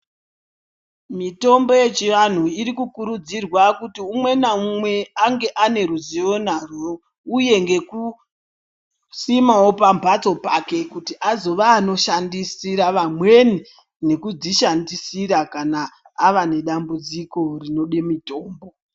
Mitombo yechianhu iri kukurudzirwa kuti umwe naumwe ange ane ruzivo narwo uye nekusimao pamhatso pake kuti azova anoshandisira vamweni nekuzvishandisira kana ava nedambudziko rinoda mutombo.